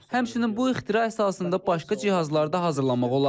Həmçinin bu ixtira əsasında başqa cihazlar da hazırlamaq olar.